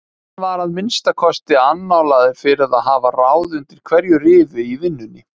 Hann var að minnsta kosti annálaður fyrir að hafa ráð undir hverju rifi í vinnunni.